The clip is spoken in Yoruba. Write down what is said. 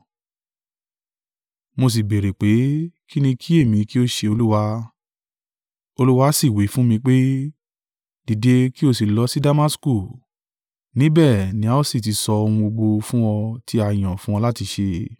“Mo sí béèrè pé, ‘Kín ni kí èmí kí ó ṣe, Olúwa?’ “Olúwa sì wí fún mi pé, ‘Dìde, kí o sì lọ sí Damasku; níbẹ̀ ni a ó sì ti sọ ohun gbogbo fún ọ tí a yàn fún ọ láti ṣe.’